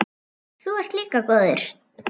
Þú ert líka góður.